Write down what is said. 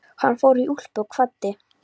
Hann fór í úlpu og kvaddi.